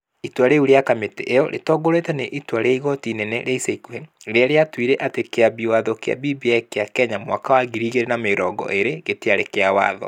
Itua rĩu rĩa kamĩtĩ ĩyo rĩtongoretio nĩ itua rĩa igoti inene rĩa ica ikuhĩ .Rĩrĩa rĩatuire atĩ Kĩambi Watho kĩa BBI kĩa Kenya mwaka wa 2020 gĩtiarĩ kĩa watho.